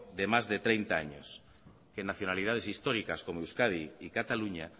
de más de treinta años que nacionalidades históricas como euskadi y cataluña